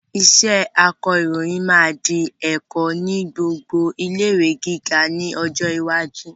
Iṣẹ́ akọròyìn máa di ẹ̀kọ́ ni gbogbo ilé-ìwé gíga ni ọjọ́ iwájú